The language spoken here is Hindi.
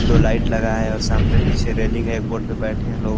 दो लाइट लगाए है और सामने पीछे रेलिंग है बोट पर बैठे है लोग --